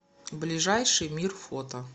ближайший мир фото